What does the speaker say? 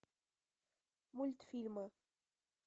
мультфильмы